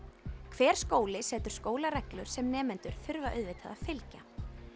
hver skóli setur skólareglur sem nemendur þurfa auðvitað að fylgja